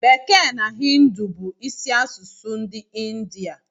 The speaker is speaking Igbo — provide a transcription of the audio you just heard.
Bekee na Hịndụ bu isi asụsụ ndi india